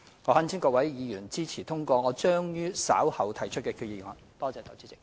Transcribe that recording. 我懇請各位議員支持通過將於稍後動議的擬議決議案。